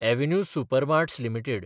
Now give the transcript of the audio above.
avenue supermarts limited